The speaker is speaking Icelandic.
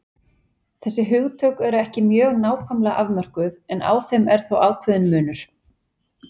Þessi hugtök eru ekki mjög nákvæmlega afmörkuð en á þeim er þó ákveðinn munur.